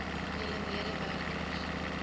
julle mede werkers